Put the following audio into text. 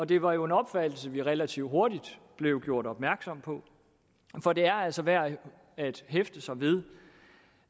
det var jo en opfattelse vi relativt hurtigt blev gjort opmærksom på for det er altså værd at hæfte sig ved